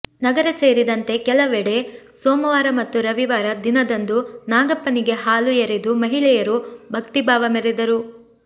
ನಗರ ಸೇರಿದಂತೆ ಕೆಲವಡೆ ಸೋಮವಾರ ಮತ್ತು ರವಿವಾರ ದಿನದಂದು ನಾಗಪ್ಪನಿಗೆ ಹಾಲು ಎರೆದು ಮಹಿಳೆಯರು ಭಕ್ತಿಭಾವ ಮೆರೆದರು